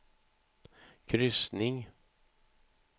kryssning